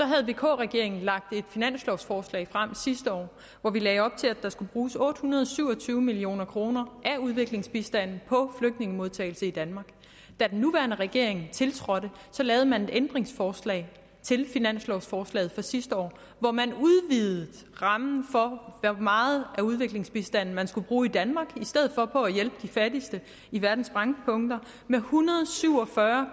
havde vk regeringen lagt et finanslovforslag frem sidste år hvor vi lagde op til at der skulle bruges otte hundrede og syv og tyve million kroner af udviklingsbistanden på flygtningemodtagelse i danmark da den nuværende regering tiltrådte lavede man et ændringsforslag til finanslovforslaget fra sidste år hvor man udvidede rammen for hvor meget af udviklingsbistanden man skulle bruge i danmark i stedet for på at hjælpe de fattigste i verdens brændpunkter med en hundrede og syv og fyrre